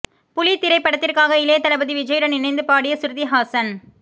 புலி திரைப்படத்திற்காக இளைய தளபதி விஜயுடன் இணைந்து பாடிய சுருதி ஹாசன்